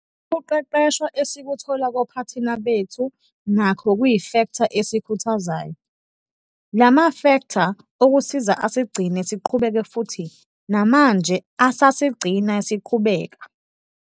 Ukuqeqeshwa esikuthola kophathina bethu nakho kuyifektha esikhuthazayo. La mafektha okusiza asigcine siqhubeka futhi namnje asasigcina siqhubeka.